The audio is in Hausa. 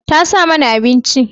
Tasa mana abinci.